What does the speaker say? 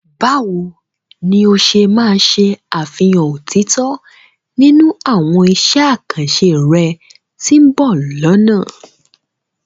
Báwo ni o ṣe máa ṣe àfihàn òtítọ́ nínú àwọn iṣẹ́ àkànṣe rẹ tí ó ń bọ̀ lọ́nà?